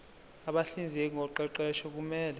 abahlinzeki ngoqeqesho kumele